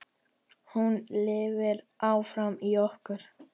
Hún lifir áfram í okkur.